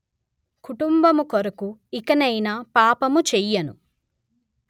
కుటుంబము కొరకు ఇకనైనా పాపము చేయను